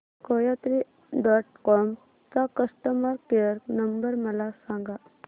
कोयात्री dot com चा customer care number मला सांगा